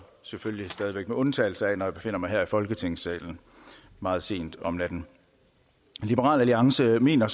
selvfølgelig stadig væk med undtagelse af når jeg befinder mig her i folketingssalen meget sent om natten liberal alliance mener